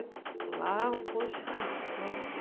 Lá, poxa, nossa!